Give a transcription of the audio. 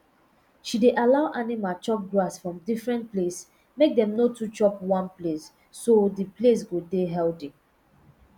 she dey allow animal chop grass from different place make dem no to chop one place so d place go dey healthy